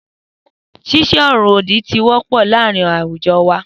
Sísô òrò òdì ti wọ pọ láàrín awujọ wà.